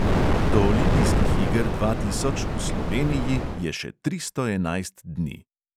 Do olimpijskih iger dva tisoč v sloveniji je še tristo enajst dni.